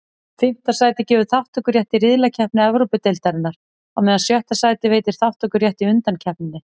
Fimmta sætið gefur þátttökurétt í riðlakeppni Evrópudeildarinnar, á meðan sjötta sætið veitir þátttökurétt í undankeppninni.